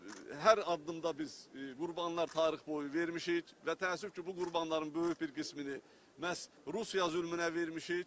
Hər addımda biz qurbanlar tarix boyu vermişik və təəssüf ki, bu qurbanların böyük bir qismini məhz Rusiya zülmünə vermişik.